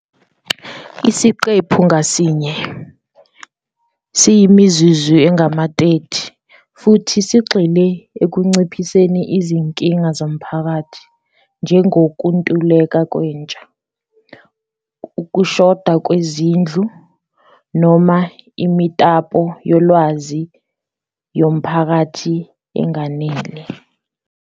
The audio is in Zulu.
Isiqephu ngasinye siyimizuzu engama-30 futhi sigxile ekunciphiseni izinkinga zomphakathi njengokuntuleka kwentsha, ukushoda kwezindlu noma imitapo yolwazi yomphakathi enganele.